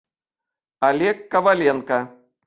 олег коваленко